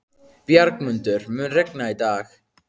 Bjargmundur, mun rigna í dag?